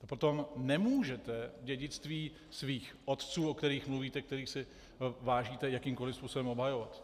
Potom nemůžete dědictví svých otců, o kterých mluvíte, kterých si vážíte, jakýmkoliv způsobem obhajovat.